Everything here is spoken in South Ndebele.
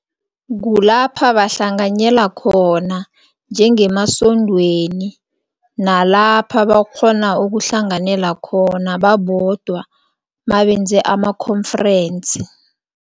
Kulapha bahlanganyela khona njengemasondweni nalapha bakghona ukuhlanganyela khona babodwa mabenze ama-conference.